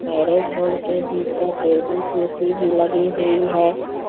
Marriage hall के भीतर table कुर्सी भी लगी हुई है।